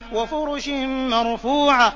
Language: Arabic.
وَفُرُشٍ مَّرْفُوعَةٍ